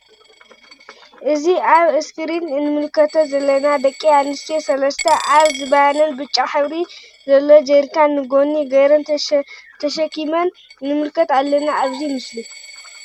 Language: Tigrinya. እዚ አብ እስክሪን እንምልከተን ዘለና ደቂ አንስትዮ ሰለስት አብ ዝባነን ብጫ ሕብሪ ዝለዎ ጀሪካን ንጎኒ ገይረን ተሸኪምን ንምልከት አለና አብዚ ምስሊ::